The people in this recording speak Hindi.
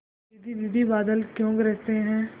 दीदी दीदी बादल क्यों गरजते हैं